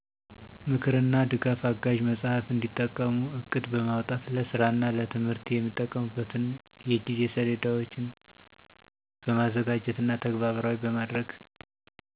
ምክርና ድጋፍ አጋዥ መጽሃፍ እንዲጠቀሙ ዕቅድ በማውጣት ለስራና ለትምህርት የሚጠቀሙበትን የጊዜ ሰሌዳዎችን በማዘጋጀትና ተግባራዊ በማድረግ